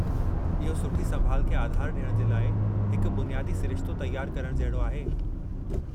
इहो सुठी संभालु खे आधारु डि॒यणु जे लाइ हिकु बुनियादी सिरिश्तो तयारु करणु जहिड़ो आहे।